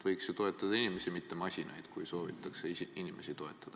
Võiks toetadagi inimesi, mitte masinaid, kui soovitakse inimesi toetada.